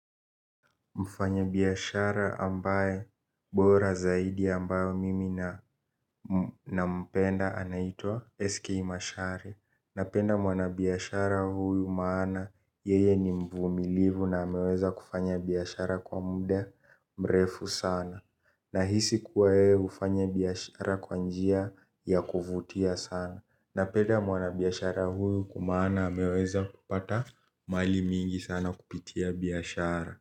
Mfanya biyashara ambaye bora zaidi ambayo mimi nampenda anaitua SK Mashari. Napenda mwana biyashara huyu maana yeye ni mvumilivu na ameweza kufanya biyashara kwa muda mrefu sana. Nahisi kuwa yeye ufanya biyashara kwanjia ya kuvutia sana. Napenda mwana biyashara huyu kumana ameweza kupata mali mingi sana kupitia biyashara.